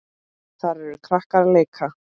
Þar eru krakkar að leika.